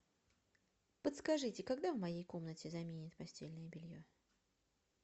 подскажите когда в моей комнате заменят постельное белье